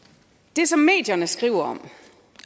det som medierne skriver om